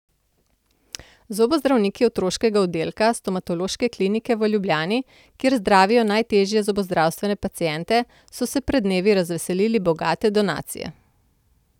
Zobozdravniki otroškega oddelka Stomatološke klinike v Ljubljani, kjer zdravijo najtežje zobozdravstvene paciente, so se pred dnevi razveselili bogate donacije.